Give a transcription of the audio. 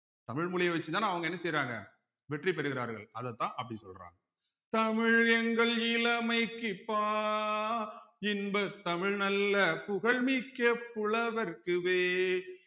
தமிழ் மொழிய வச்சுதானே அவங்க என்ன செய்யறாங்க வெற்றி பெறுகிறார்கள் அதத்தான் அப்படி சொல்றாங்க தமிழ் எங்கள் இளமைக்குப் பால் இன்பத் தமிழ் நல்ல புகழ் மிக்க புலவர்க்கு வேல்